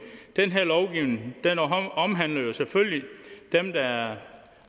den her lovgivning omhandler jo selvfølgelig dem der er